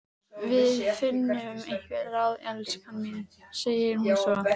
Við finnum einhver ráð, elskan mín, segir hún svo.